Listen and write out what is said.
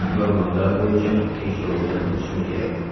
Gormonlar bo‘yicha tekshiruvdan o‘tishim kerak”.